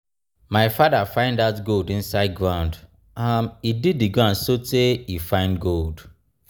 my father find dat gold inside ground. um he dig the ground so tey he find gold.